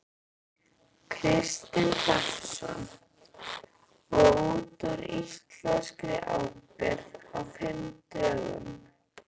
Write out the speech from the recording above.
Kristinn Hrafnsson: Og út úr íslenskri ábyrgð á fimm dögum?